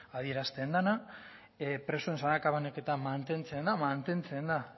adierazten dena presoen sakabanaketa mantentzen da mantentzen da